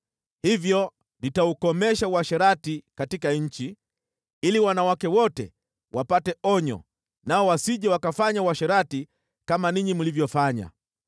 “Hivyo nitaukomesha uasherati katika nchi, ili wanawake wote wapate onyo nao wasije wakafanya uasherati kama ninyi mlivyofanya.